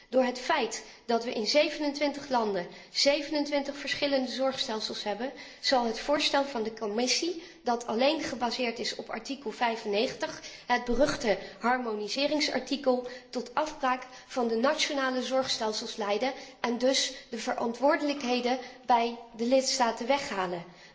Door het feit dat wij in 27 landen 27 verschillende zorgstelsels hebben zal het voorstel van de Commissie dat alleen gebaseerd is op artikel 95, het beruchte harmoniseringsartikel, tot afbraak van de nationale zorgstelsels leiden en dus de verantwoordelijkheden bij de lidstaten weghalen.